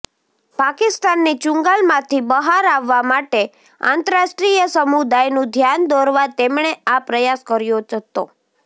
પાકિસ્તાનની ચુંગાલમાંથી બહાર આવવા માટે આંતરરાષ્ટ્રીય સમુદાયનું ધ્યાન દોરવા તેમણે આ પ્રયાસ કર્યો હતો